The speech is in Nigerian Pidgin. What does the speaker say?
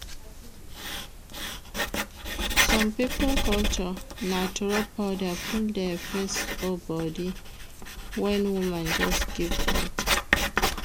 Some pipo culture na to rub powder full their face or body when woman just give birth